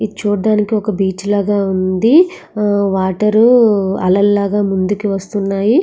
ఇది చూడ్డానికి ఒక బీచ్ లాగా ఉంది వాటరు అలలు లాగా ముందుకి వస్తున్నాయి.